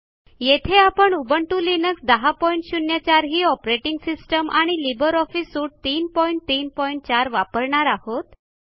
येथे आपण Ubuntu Linux 1004 ही ऑपरेटिंग सिस्टम आणि लिब्रे ऑफिस सूट 334 वापरणार आहोत